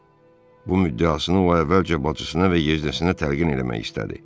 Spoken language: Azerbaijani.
Bu müddiasını o əvvəlcə bacısına və yeznəsinə təlqin eləmək istədi.